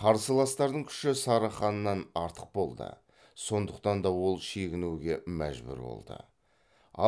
қарсыластардың күші сары ханнан артық болды сондықтан да ол шегінуге мәжбүр болды